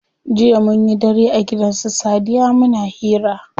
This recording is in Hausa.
Jiya munyi dare a gidan su sadiya muna hira.